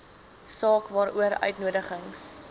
saak waaroor uitnodigings